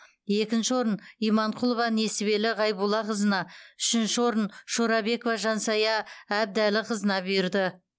екінші орын иманқұлова несібелі ғайбуллақызына үшінші орын шорабекова жансая әбдіәліқызына бұйырды